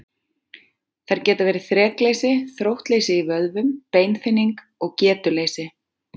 Þær geta verið þrekleysi, þróttleysi í vöðvum, beinþynning og getuleysi.